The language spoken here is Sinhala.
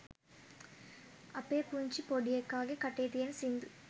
අපේ පුංචිගේ පොඩි එකාගේ කටේ තියන සිංදු